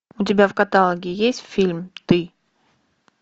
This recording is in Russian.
у тебя в каталоге есть фильм ты